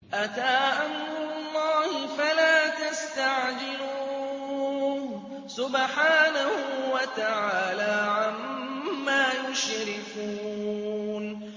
أَتَىٰ أَمْرُ اللَّهِ فَلَا تَسْتَعْجِلُوهُ ۚ سُبْحَانَهُ وَتَعَالَىٰ عَمَّا يُشْرِكُونَ